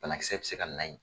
Banakisɛ bi se ka na ye.